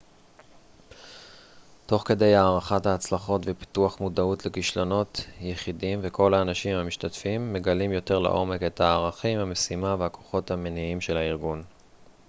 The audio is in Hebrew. תוך כדי הערכת ההצלחות ופיתוח מודעות לכישלונות יחידים וכל האנשים המשתתפים מגלים יותר לעומק את הערכים המשימה והכוחות המניעים של הארגון